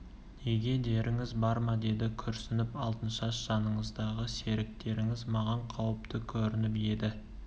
неге деріңіз бар ма деді күрсініп алтыншаш жаныңыздағы серіктеріңіз маған қауіпті көрініп еді